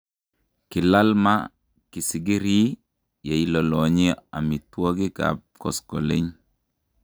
Kilal maa kisikirii yeilolonyi omituokik Kap koskoleny.